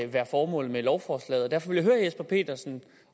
være formålet med lovforslaget derfor vil jeg jesper petersen